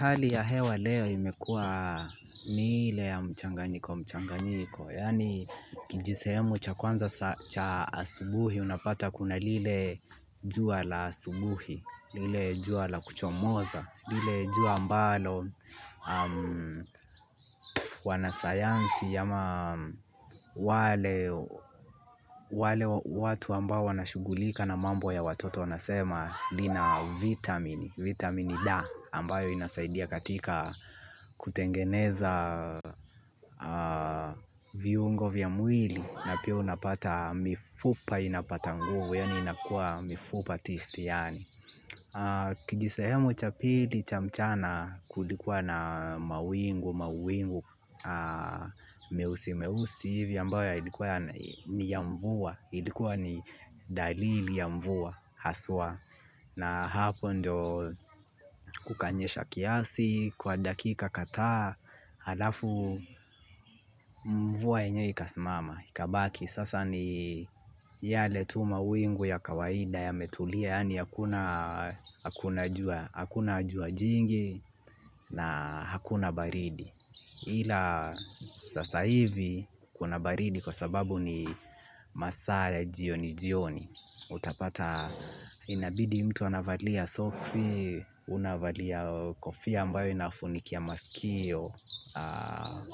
Hali ya hewa leo imekuwa ni ile ya mchanganyiko mchanganyiko, yani kijisehemu cha kwanza cha asubuhi unapata kuna lile jua la asubuhi, lile jua la kuchomoza, lile jua ambalo wanasayansi ama wale watu ambao wanashughulika na mambo watoto wanasema lina vitamini D ambayo inasaidia katika kutengeneza viungo vya mwili na pia unapata mifupa inapata nguvu yani inakua mifupa tisti yani. Kijisehemu cha pili cha mchana kulikuwa na mawingu mawingu meusi meusi hivi ambayo yalikuwa ni ya mvua ilikuwa ni dalili ya mvua haswa na hapo ndio kukanyesha kiasi, kwa dakika kadhaa, halafu mvua yenyewe ikasimama ikabaki sasa ni yale tu mawingu ya kawaida yametulia, yani hakuna jua jingi na hakuna baridi ila sasa hivi kuna baridi kwa sababu ni masaa ya jioni jioni. Utapata, inabidi mtu anavalia soksi, unavalia kofia ambayo inafunikia masikio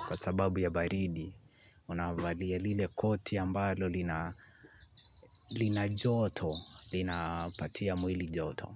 kwa sababu ya baridi unavalia lile koti ambalo lina lina joto linapatia mwili joto.